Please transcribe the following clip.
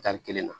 Tari kelen na